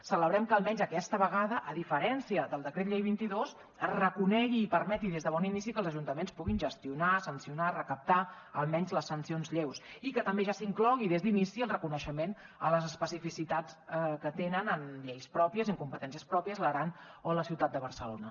celebrem que almenys aquesta vegada a diferència del decret llei vint dos es reconegui i permeti des de bon inici que els ajuntaments puguin gestionar sancionar i recaptar almenys les sancions lleus i que també ja s’inclogui des d’inici el reconeixement a les especificitats que tenen en lleis pròpies i en competències pròpies l’aran o la ciutat de barcelona